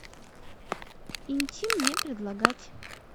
интим не предлагать